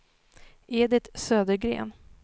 Edit Södergren